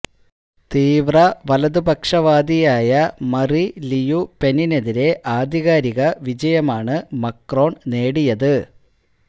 തീവ്ര വലതുപക്ഷവാദിയായ മറി ലിയു പെനിനെതിരെ ആധികാരിക വിജയമാണ് മക്രോൺ നേടിയത്